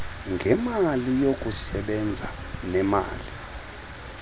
ngemali yokusebenza nemali